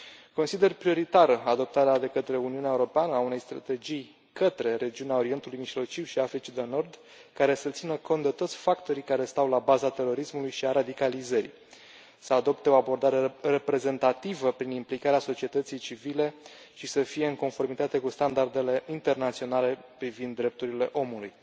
Consider prioritară adoptarea de către Uniunea Europeană a unei strategii către regiunea Orientului Mijlociu și Africii de Nord, care să țină cont de toți factorii care stau la baza terorismului și a radicalizării, să adopte o abordare reprezentativă prin implicarea societății civile și să fie în conformitate cu standardele internaționale privind drepturile omului.